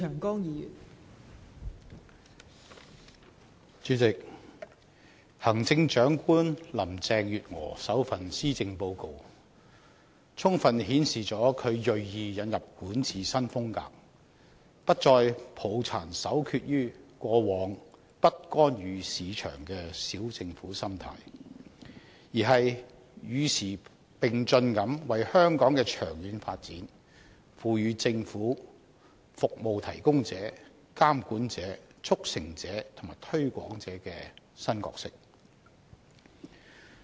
代理主席，行政長官林鄭月娥首份施政報告充分顯示她銳意引入管治新風格，不再抱殘守缺於過往"不干預市場"的"小政府"心態，而是與時並進地為香港的長遠發展，賦予政府"服務提供者"、"監管者"、"促成者"和"推廣者"的新角色。